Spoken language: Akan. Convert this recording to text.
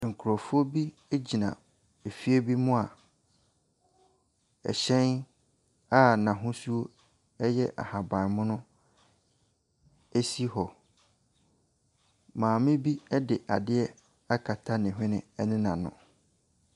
Nkurɔfoɔ bi gyina efie bi mu a hyɛn a n'ahosuo yɛ ahaban mono si hɔ. Maame bi de adeɛ akata ne hwene ne n'ano.